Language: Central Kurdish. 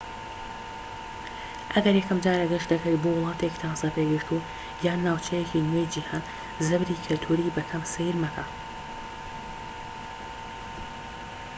ئەگەر یەکەمجارە گەشت دەکەیت بۆ وڵاتێکی تازە پێگەشتوو یان ناوچەیەکی نوێی جیهان زەبری کەلتوریی بە کەم سەیر مەکە